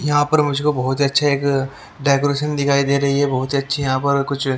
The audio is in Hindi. यहां पर मुझको बहुत ही अच्छा एक -- डेकोरेशन दिखाई दे रही है बहुत ही अच्छी यहां पर कुछ ।